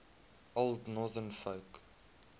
old northern folk